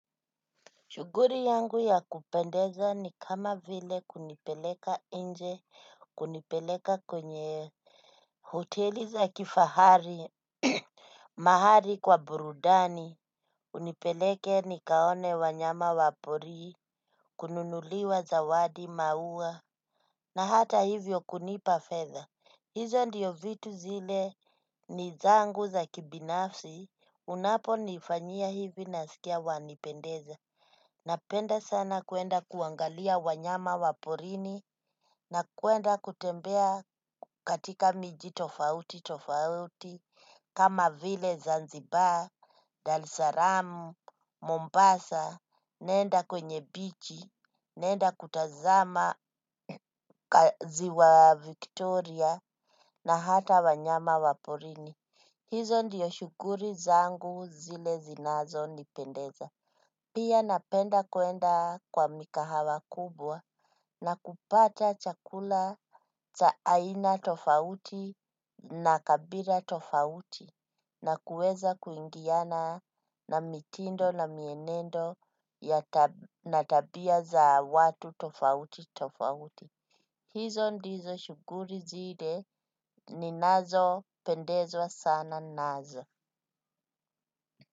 Shughuli yangu ya kupendeza ni kama vile kunipeleka nje, kunipeleka kwenye hoteli za kifahari, mahali kwa burudani. Unipeleke nikaone wanyama wapori. Kununuliwa zawadi, maua. Na hata hivyo kunipa fedha. Hizo ndizo vitu zile ni zangu za kibinafsi. Unaponifanyia hivi, nasikia wanipendeza. Napenda sana kwenda kuangalia wanyama wa porini na kwenda kutembea katika miji tofauti tofauti. Kama vile Zanzibar, Dar es Salaam, Mombasa, nenda kwenye bichi, nenda kutazama ziwa Victoria na hata wanyama wa porini. Hizo ndiyo shughuli zangu zile zinazonipendeza. Pia napenda kwenda kwa mikahawa kubwa na kupata chakula cha aina tofauti na kabila tofauti, na kuweza kuingiana na mitindo na mienendo na tabia za watu tofauti tofauti. Hizo ndizo shughuli zile ninazozipendezwa sana nazo.